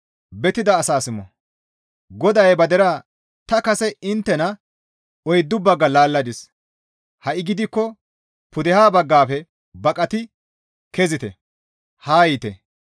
GODAY ba deraa, «Ta kase inttena oyddu bagga laalladis; ha7i gidikko pudeha baggafe baqati kezite; haa yiite.